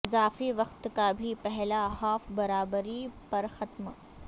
اضافی وقت کا بھی پہلا ہاف برابری پر ختم